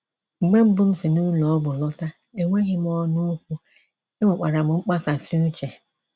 Mgbe mbụ m si ụlọ ọgwụ lọta, enweghị m ọnụ okwu, enwekwara m mkpasasị uche.